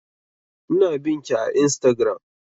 Ina bin ki a instagram